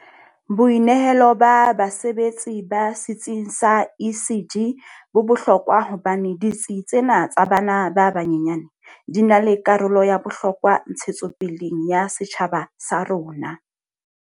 Boinehelo ba basebesetsi ba setsing sa ECD bo bohlokwa hobane ditsi tsena tsa bana ba banyenyane di na le karolo ya bohlokwa ntshetsopeleng ya setjhaba sa rona.